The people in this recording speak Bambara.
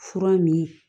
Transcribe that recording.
Fura min